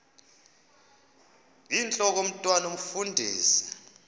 intlok omntwan omfundisi